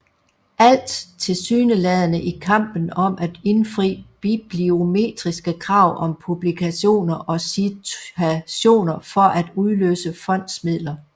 Alt tilsyneladende i kampen om at indfri bibliometriske krav om publikationer og citationer for at udløse fondsmidler